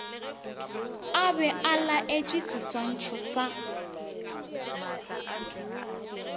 a be a laetšeseswantšho sa